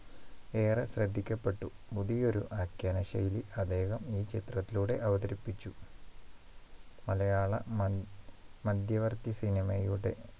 ഏറെ ശ്രദ്ധിക്കപ്പെട്ടു പുതിയൊരു ആഖ്യാന ശൈലി അദ്ദേഹം ഈ ചിത്രത്തിലൂടെ അവതരിപ്പിച്ചു മലയാള മ മധ്യവർഗി cinema യുടെ